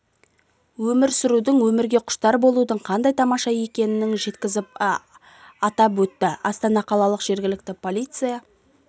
өмір сүрудің өмірге құштар болудың қандай тамаша екенің жеткізу атап өтті астана қалалық жергілікті полиция